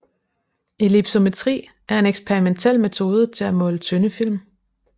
Ellipsometri er en eksperimentel metode til at måle tynde film